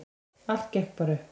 Allt gekk bara upp.